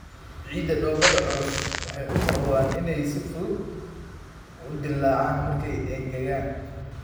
Ciidda dhoobada culus waxay u muuqdaan inay si fudud u dillaacaan markay engegaan.